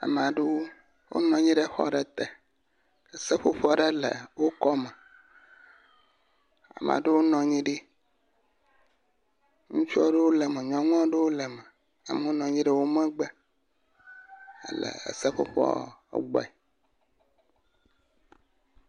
Ame aɖewo wonɔ anyi ɖe xɔ aɖe te. Seƒoƒo aɖe le wo kɔme. Ame aɖewo nɔ anyi ɖi. Ŋutsu aɖewo le eme nyɔunu aɖewo le eme. Amewo nɔ anyi ɖe wo megbe le seƒoƒoa gbɔ.